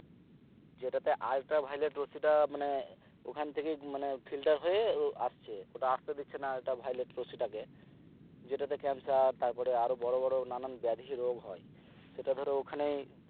যেটাতে ultraviolet মানে ওখান থেকেই মানে filter হয়ে আসছে ওটা আস্তে দিচ্ছেনা ultraviolet টাকে যেটাতে cancer তারপরে আরো বোরো বোরো নানান বেধি রোগ হয় সেটা ধরো ওখানেই